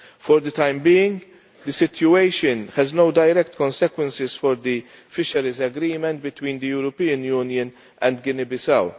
For the time being, the situation has no direct consequences for the fisheries agreement between the European Union and Guinea Bissau.